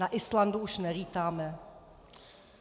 Na Islandu už nelítáme.